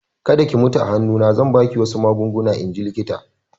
Kada ki mutu a hannu na!" Zan ba ki wasu magunguna in ji likitan